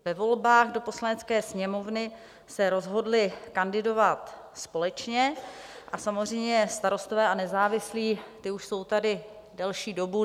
Ve volbách do Poslanecké sněmovny se rozhodly kandidovat společně, a samozřejmě Starostové a nezávislí, ti už jsou tady delší dobu.